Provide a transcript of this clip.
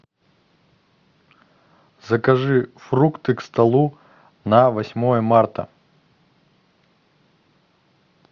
закажи фрукты к столу на восьмое марта